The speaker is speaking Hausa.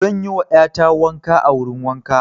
Zan yi wa ƴa ta wanka a wurin wanka.